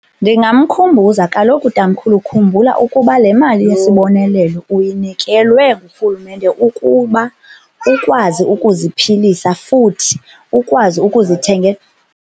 Ndingamkhumbuza kaloku, tamkhulu, khumbula ukuba le mali yesibonelelo uyinikelwe ngurhulumente ukuba ukwazi ukuziphilisa futhi ukwazi ukuzithengela.